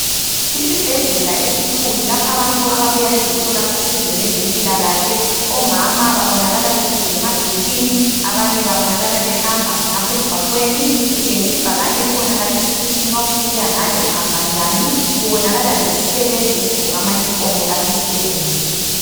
Isibhedlela esikhulu lapha abantu ababuya bezothola usizo ngezempilakahle omama babonakala behlezi emabhentshini abanye babonakala behamba khonapha emgwaqweni kutshengisa ibhakane elibonakalisa ukuthi nxa ufuna ukuya ngale uhamba njani kubonakala lesisebenzi esigqoke ama uniform alapha esibhedlela.